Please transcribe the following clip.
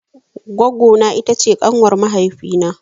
Goggo na ita ce ƙanwar mahaifi na.